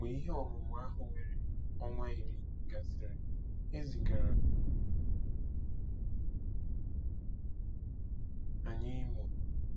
Mgbe ihe ọmụmụ ahụ were ọnwa iri gasịrị, e zigara anyị Imo.